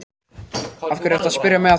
Af hverju ertu að spyrja mig að því?